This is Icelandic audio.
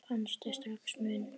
Fannstu strax mun?